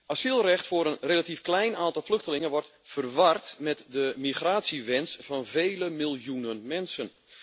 Asielrecht voor een relatief klein aantal vluchtelingen wordt verward met de migratiewens van vele miljoenen mensen.